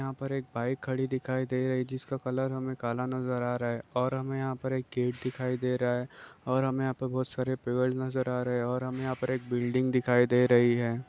यहाँ पर एक बाइक खड़ी दिखाई दे रही जिसका कलर हमें काला नजर आ रहा है और हुमें यहाँ पर एक गेट दिखाई दे रहा है और हुमें यहाँ पे बहोत सारे पेड़ नजर आ रहे हैं और हुमें यहाँ पर एक बिल्डिंग दिखाई दे रही है।